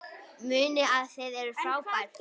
Munið að þið eruð frábær!